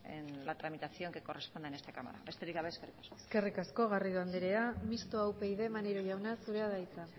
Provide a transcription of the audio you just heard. en la tramitación que corresponda en esta cámara besterik gabe eskerrik asko eskerrik asko garrido andrea mistoa upyd maneiro jauna zurea da hitza